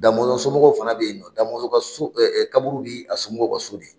Damɔzɔn somɔgɔw fana bɛ ye nɔ Damɔzɔn ka so kaburu ni a somɔgɔw ka so